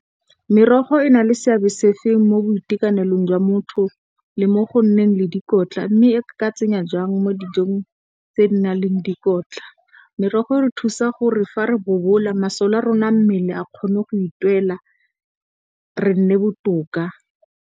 Merogo e na le seabe se fe mo boitekanelong jwa motho le mo go nneng le dikotla mme, e ka tsenya jwang mo dijong tse di na leng dikotla? Merogo e re thusa gore fa re bobola masole a rona a mmele a kgone go itirela re nne botoka.